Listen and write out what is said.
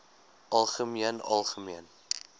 algemeen algemeen